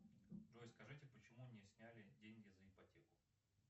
джой скажите почему не сняли деньги за ипотеку